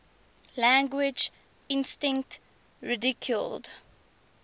language instinct ridiculed